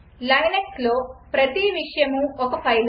లైనక్స్లో ప్రతి విషయమూ ఒక ఫైలే